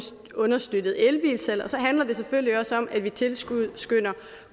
understøttet elbilsalget og så handler det selvfølgelig også om at vi tilskynder